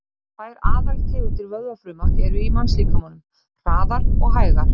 Tvær aðaltegundir vöðvafruma eru í mannslíkamanum, hraðar og hægar.